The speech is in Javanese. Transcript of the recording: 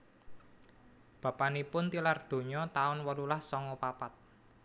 Bapanipun tilar donya taun wolulas songo papat